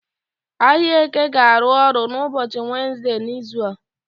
Ahịa Eke ga-arụ ọrụ n'ụbọchị Wenezde n'izu a.